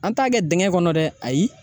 An t'a kɛ dingɛ kɔnɔ dɛ ayi